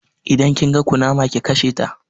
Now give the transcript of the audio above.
Idan kin ga kunama ki kasheta